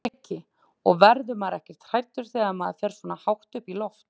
Breki: Og verður maður ekkert hræddur þegar maður fer svona hátt upp í loft?